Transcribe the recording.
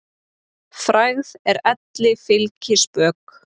Frægð er elli fylgispök.